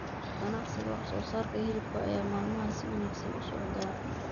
Ganacsiga wax soo saarka hilibka ayaa maalmahan si wanaagsan u socda.